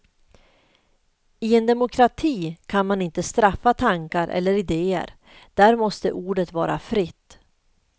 I en demokrati kan man inte straffa tankar eller idéer, där måste ordet vara fritt.